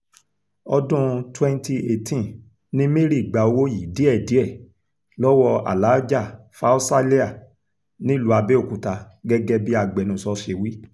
ọdún 2018 ni mary gba owó yìí díẹ̀díẹ̀ lọ́wọ́ alàájá faúsálẹ́à nílùú abẹ́òkúta gẹ́gẹ́ bí agbẹnusọ ṣe wí